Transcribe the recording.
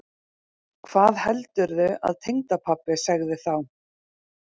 Hvað heldurðu að tengdapabbi segði þá?